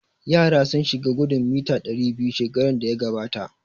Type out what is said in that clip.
Yara sun shiga gudun mita ɗari biyu shekaran da ya gabata